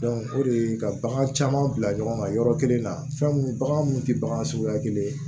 o de ye ka bagan caman bila ɲɔgɔn kan yɔrɔ kelen na fɛn mun bagan mun te bagan suguya kelen ye